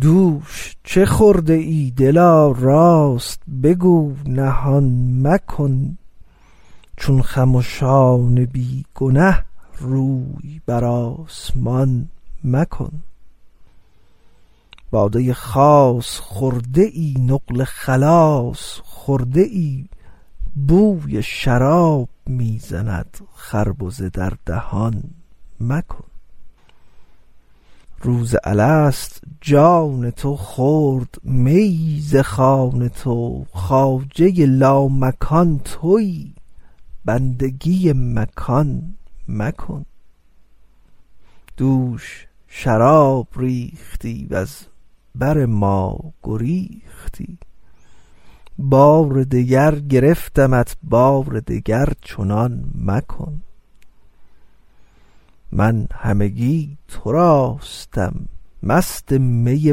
دوش چه خورده ای دلا راست بگو نهان مکن چون خمشان بی گنه روی بر آسمان مکن باده خاص خورده ای نقل خلاص خورده ای بوی شراب می زند خربزه در دهان مکن روز الست جان تو خورد میی ز خوان تو خواجه لامکان تویی بندگی مکان مکن دوش شراب ریختی وز بر ما گریختی بار دگر گرفتمت بار دگر چنان مکن من همگی تراستم مست می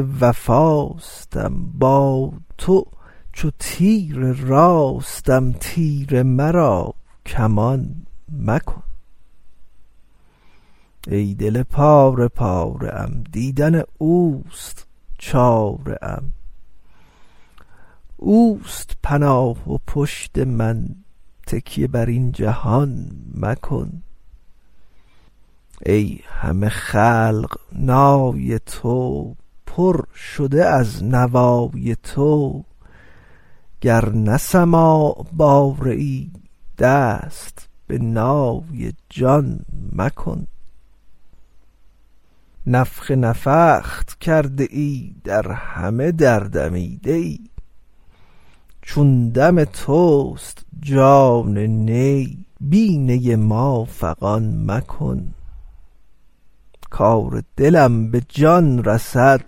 وفاستم با تو چو تیر راستم تیر مرا کمان مکن ای دل پاره پاره ام دیدن اوست چاره ام اوست پناه و پشت من تکیه بر این جهان مکن ای همه خلق نای تو پر شده از نوای تو گر نه سماع باره ای دست به نای جان مکن نفخ نفخت کرده ای در همه در دمیده ای چون دم توست جان نی بی نی ما فغان مکن کار دلم به جان رسد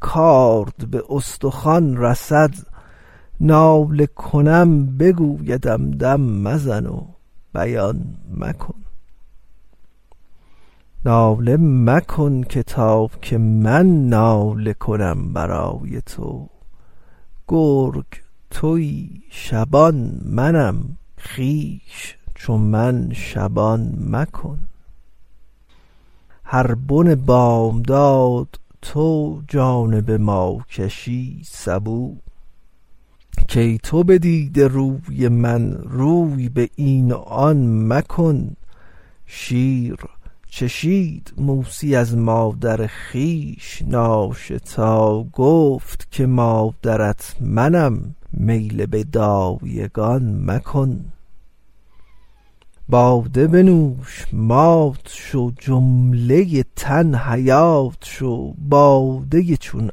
کارد به استخوان رسد ناله کنم بگویدم دم مزن و بیان مکن ناله مکن که تا که من ناله کنم برای تو گرگ تویی شبان منم خویش چو من شبان مکن هر بن بامداد تو جانب ما کشی سبو کای تو بدیده روی من روی به این و آن مکن شیر چشید موسی از مادر خویش ناشتا گفت که مادرت منم میل به دایگان مکن باده بنوش مات شو جمله تن حیات شو باده چون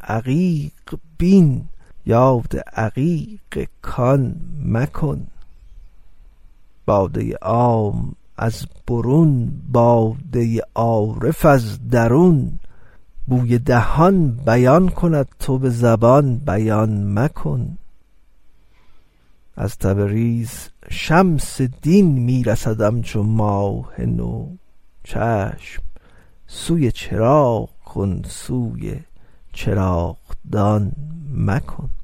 عقیق بین یاد عقیق کان مکن باده عام از برون باده عارف از درون بوی دهان بیان کند تو به زبان بیان مکن از تبریز شمس دین می رسدم چو ماه نو چشم سوی چراغ کن سوی چراغدان مکن